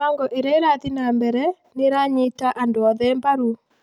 Mĩbango ĩrĩa ĩrathiĩ na mbere nĩ ĩranyita andũ othe mbaru.